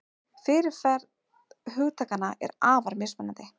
Fyrirferð hugtakanna er afar mismunandi.